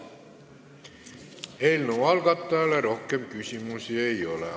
Eelnõu algatajale rohkem küsimusi ei ole.